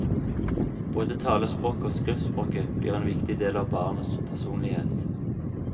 Både talespråket og skriftspråket blir en viktig del av barnets personlighet.